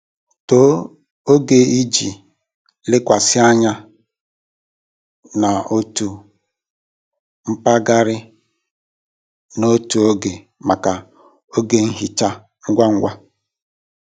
Tọọ oge iji lekwasị anya n'otu mpaghara n'otu oge maka oge nhicha ngwa ngwa.